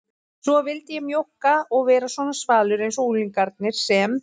Svo vildi ég mjókka og vera svona svalur einsog unglingarnir sem